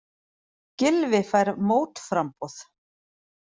Gylfi fær mótframboð